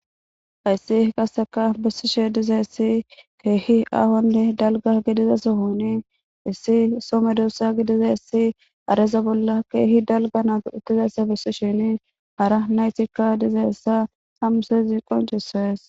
Hays qaseka besishe dizays keeh aahonne dalga gidida sohon issi so medosa gidizays hareza bolla keeh dalgan dizaysa besishin hara naytika dizaysa ha misilez qoncises.